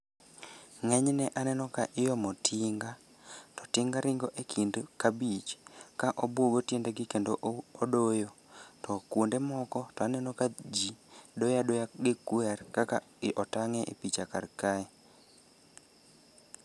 Ng'enyne aneno ka iomo tinga to tinga ringo e kind kabich ka obugo tiendegi kendo odoyo to kuonde moko to aneno ka ji doyo adoya gi kwer kaka otang' e i picha karkae.